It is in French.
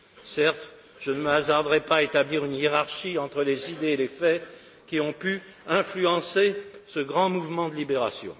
Certes, je ne me hasarderai pas à établir une hiérarchie entre les idées et les faits qui ont pu influencer ce grand mouvement de libération.